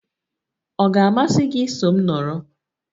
Ọ ga-amasị gị iso m nọrọ?